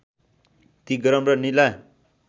ती गरम र निला